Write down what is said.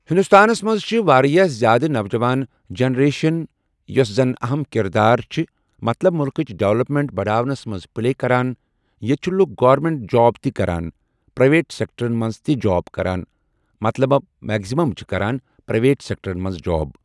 ہندوستانس منز چھُ واریاہ زیاد نَوجَوان جَنریشن یۄس زَن اَہم کِردار چھ مطلب مُلقٕچ ڈؠولپمیٚنٹ بَڈاونَس منز پلے کَران ییٚتہِ چھ لُکھ گورمِنٹ جاب تہِ کَران پرایویٹ سؠکٹَرَن منز تہِ جاب کَران مطلب مؠکزِمَم چھ کَران پرایویٹ سؠکٹَرَن منز جاب۔